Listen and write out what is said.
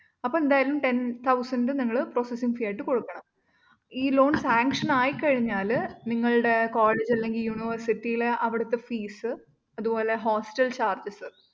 അപ്പൊ എന്തായാലും ten thousand നിങ്ങള്‍ processing fee ആയിട്ട്കൊടുക്കണം. ഈ loan sanction ആയിക്കഴിഞ്ഞാല്‍ നിങ്ങള്ടെ‍ college അല്ലെങ്കില് university ലെ അവിടുത്തെ fees അതുപോലെ hostelcharges